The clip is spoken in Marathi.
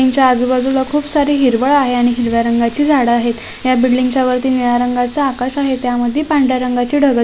ती आजूबाजु ल खूप सारा हिरवळ आहे आणि हिरव्या रंगाचे झाड आहेत या बिल्डिंग च्या या वरती निळ्या रंगाचे आकाश आहे त्यामधी पांढऱ्या रंगाचे ढग --